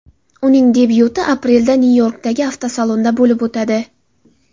Uning debyuti aprelda Nyu-Yorkdagi avtosalonda bo‘lib o‘tadi.